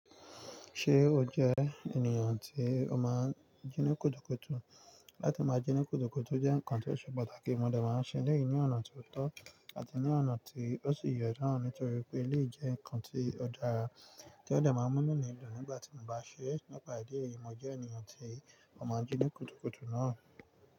Ṣé o jẹ́ ènìyàn tí o máa ń jí ní kùtùkùtù? Láti máa jí ní kùtùkùtù jẹ́ ǹkan tí ó ṣe pàtàkì, mo dẹ̀ máa ń ṣe léyìn ní ọ̀nà tó tọ́ àti ní ọ̀nà tí ó sì yẹn náà nítorí pé léyìí jẹ́ ǹkan tí ó dára tí ó dà máa ń mú nínú ìlú nígbà tí mo bá ṣe é. Nípa ìdí èyí, mo jẹ́ ènìyàn tí ó máa ń jí ní kùtùkùtù náà.